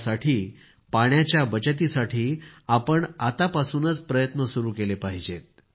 यासाठी पाण्याच्या बचतीसाठी आपण आत्तापासूनच प्रयत्न सुरू केले पाहिजेत